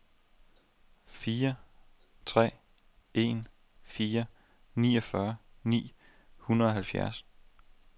fire tre en fire niogfyrre ni hundrede og halvfjerds